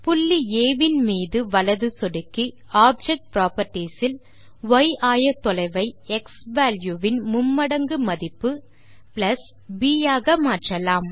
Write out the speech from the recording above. புள்ளி ஆ வின் மீது வலது சொடுக்கி ஆப்ஜெக்ட் புராப்பர்ட்டீஸ் இல் ய் ஆயத்தொலைவை க்ஸ்வால்யூ வின் மும்மடங்கு மதிப்பு ப் ஆக மாற்றலாம்